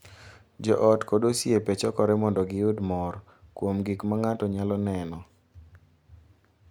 Jo ot kod osiepe chokore mondo giyud mor kuom gik ma ng’ato nyalo neno,